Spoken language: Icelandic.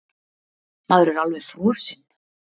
Maður er alveg frosinn!